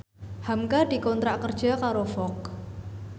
hamka dikontrak kerja karo Vogue